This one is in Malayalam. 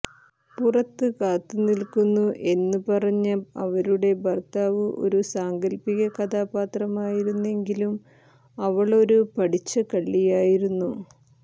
പുറത്ത് കാത്തുനിൽക്കുന്നു എന്ന് പറഞ്ഞ അവരുടെ ഭർത്താവ് ഒരു സാങ്കൽപിക കഥാപാത്രമാത്രമായിരുന്നെങ്കിലും അവളൊരു പഠിച്ച കള്ളിയായിരുന്നു